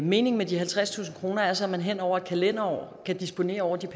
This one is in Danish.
meningen med de halvtredstusind kroner er så at man hen over et kalenderår kan disponere over